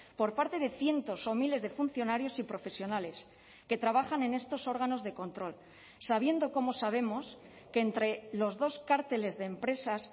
por parte de cientos o miles de funcionarios y profesionales que trabajan en estos órganos de control sabiendo como sabemos que entre los dos cárteles de empresas